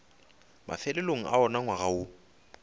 mafelelong a wona ngwaga woo